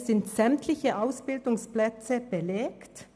Es sind sämtliche Ausbildungsplätze belegt.